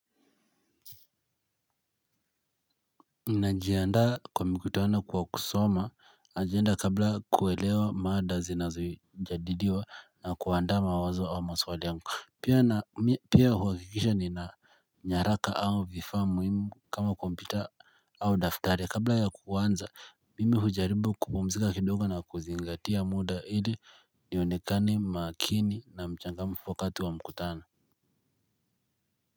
Ninajiandaa kwa mkutano kwa kusoma agenda kabla kuelewa mada zinazojadiliwa na kuandaa mawazo au maswali yangu. Pia huhakikisha nina nyaraka au vifaa muhimu kama kompyuta au daftari kabla ya kuanza mimi hujaribu kupumzika kidogo na kuzingatia muda ili nionekane makini na mchangamfu wakati wa mkutano.